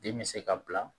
Den bɛ se ka bila